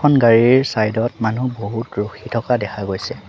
এখন গাড়ীৰৰ চাইড ত মানুহ বহুত ৰখি থকা দেখা গৈছে।